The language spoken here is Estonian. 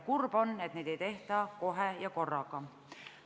Kurb on, et kõike ei tehta kohe ja korraga.